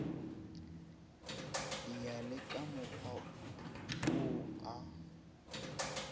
ya le kamokgwa wo a